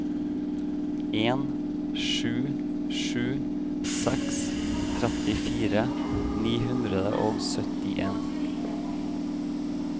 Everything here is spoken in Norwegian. en sju sju seks trettifire ni hundre og syttien